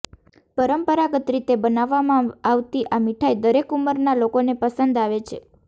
પરંપરાગત રીતે બનાવવામાં આવતી આ મીઠાઈ દરેક ઉંમરના લોકોને પસંદ આવે છે